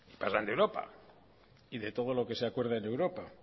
de europa y de todo lo que se acuerden de europa